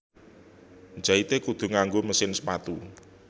Njaite kudu nganggo mesin sepatu